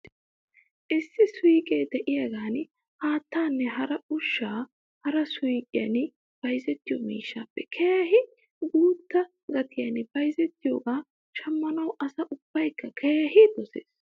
Issi suyqqe de'iyaagan haattaanne hara ushshata hara suyqqiyan bayzziyoo miishshaappe keehi guutta gatiyan bayzziyoogaa shammanaw asa ubbaykka keehi doses .